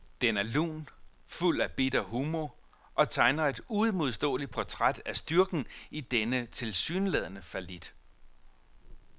Den er lun, fuld af bitter humor og tegner et uimodståeligt portræt af styrken i denne tilsyneladende fallit.